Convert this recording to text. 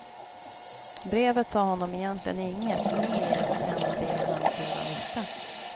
Brevet sa honom egentligen inget mer än det han redan visste.